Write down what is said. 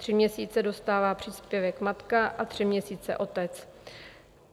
Tři měsíce dostává příspěvek matka a tři měsíce otec.